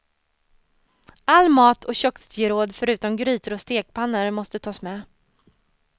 All mat och köksgeråd förutom grytor och stekpannor måste tas med.